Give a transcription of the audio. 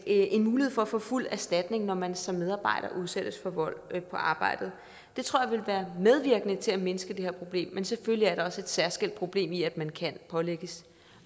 en mulighed for at få fuld erstatning når man som medarbejder udsættes for vold på arbejdet det tror jeg ville være medvirkende til at mindske det her problem men selvfølgelig er der også et særskilt problem i at man kan pålægges